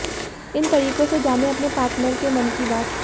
इन तरीकों से जानें अपने पार्टनर के मन की बात